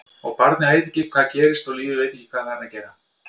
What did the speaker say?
Og barnið veit ekki hvað gerist og lífið veit ekki hvað það er að gera.